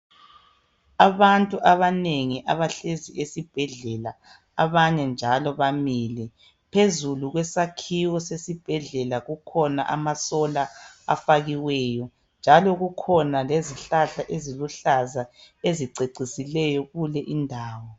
Abantu abanengi abahlezi esibhedlela, abanye njalo bamile, phezulu kwesakhiwo sesibhedlela kukhona ama "solar" afakiweyo njalo kukhona lezihlahla eziluhlaza ezicecisileyo kule indawo.